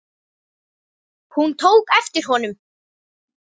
Hún tók eftir honum!